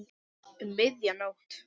Um miðja nótt.